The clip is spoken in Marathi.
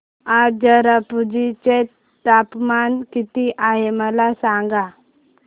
आज चेरापुंजी चे तापमान किती आहे मला सांगा